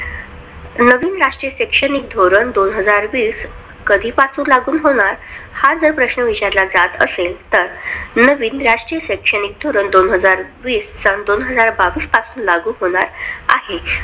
नवीन राष्टीय शैक्षणिक धोरण दोन हजार वीस कधी पासून लागू होणार? हा जर प्रश्न विचारला जात असेल, तर नवीन राष्ट्रीय शैक्षणिक धोरण दोन हजार वीस सन दोन हजार बावीस पासून लागु होणार आहे.